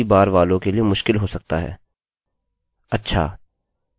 command line इस्तेमाल करना पहली बार वालों के लिए मुश्किल हो सकता है